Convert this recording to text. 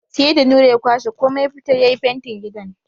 Sai da Nura ya kwashe komai ya fitar ya yi fentin gidan.